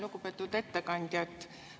Lugupeetud ettekandja!